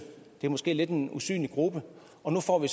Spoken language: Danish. det er måske en lidt usynlig gruppe og hvor vi